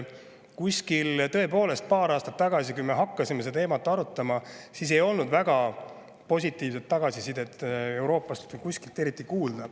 Kuskil paar aastat tagasi, kui me hakkasime seda teemat arutama, ei olnud väga positiivset tagasisidet Euroopast kuskilt kuulda.